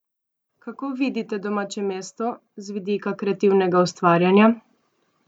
Kako vidite domače mesto z vidika kreativnega ustvarjanja?